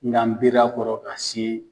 N ka n biri a kɔrɔ ka se